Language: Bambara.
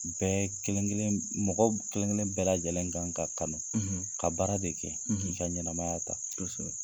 Bɛɛ kelen kelen mɔgɔ kelen kelen bɛɛ lajɛlen kan ka kalan ka baara de kɛ k'i ka ɲɛnɛmaya ta kosɛbɛ.